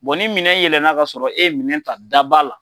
ni minɛn yɛlɛna ka sɔrɔ e ye minɛn ta da ba la,